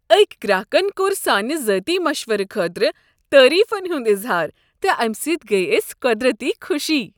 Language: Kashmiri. أکۍ گراكن كوٚر سانہ ذٲتی مشورٕ خٲطرٕ تعریفن ہُنٛد اظہار تہٕ امہ سۭتۍ گٔیہ اسہ قۄدرتی خوشی۔